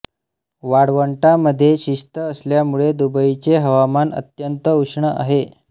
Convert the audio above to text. वाळवंटामध्ये स्थित असल्यामुळे दुबईचे हवामान अत्यंत उष्ण आहे